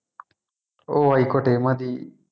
ഓഹ് ആയിക്കോട്ടെ മതി